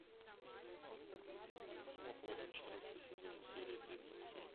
сто вопросов четырнадцатый сезон серия тридцать семь